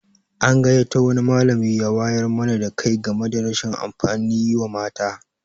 An gayyato wani malami ya wayar mana da kai game da rashin amfanin yi wa mata.